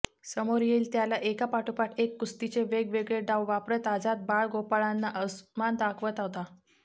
समोर येईल त्याला एकापाठोपाठ एक कुस्तीचे वेगवेगळे डाव वापरत आझाद बाळगोपाळांना अस्मान दाखवत होता